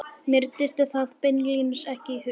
Mér dytti það beinlínis ekki í hug.